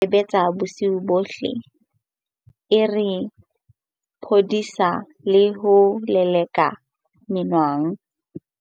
Fene e ne e sebetsa bosiu bohle e re phodisa le ho leleka menwang.